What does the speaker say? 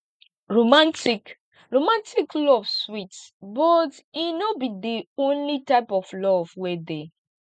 romantic romantic love sweet but e no be di only type of love wey dey